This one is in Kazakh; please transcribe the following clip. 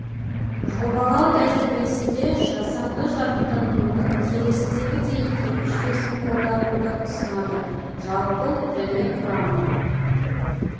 жобалау тәжірибесінде жасанды жарықтандырудың келесідегідей екі жүйесін қолдануды ұсынады жалпы және құрама